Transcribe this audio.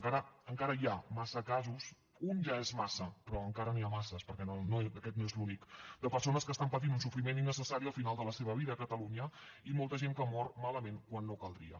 encara hi ha massa casos un ja és massa però encara n’hi ha massa perquè aquest no és l’únic de persones que estan patint un sofriment innecessari al final de la seva vida a catalunya i molta gent que mor malament quan no caldria